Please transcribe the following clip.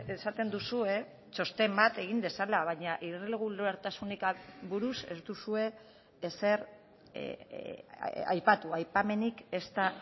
esaten duzue txosten bat egin dezala baina irregulartasunik buruz ez duzue ezer aipatu aipamenik ezta